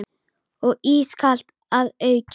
Og ískalt að auki.